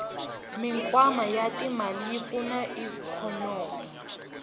mikwama yatimale yipfuna ikonomi